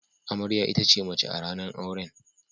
Amarya ita ce mace a ranan auren.